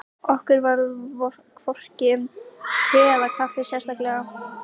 Okkur varðaði hvorki um te eða kaffi sérstaklega.